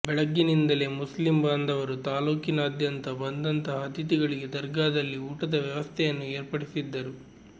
ಬೆಳಗಿನಿಂದಲೇ Muslim ಬಾಂಧವರು ತಾಲ್ಲೂಕಿನಾದ್ಯಂತ ಬಂದಂತಹ ಅತಿಥಿಗಳಿಗೆ ದರ್ಗಾದಲ್ಲಿ ಊಟದ ವ್ಯವಸ್ಥೆಯನ್ನು ಏರ್ಪಡಿಸಿದ್ದರು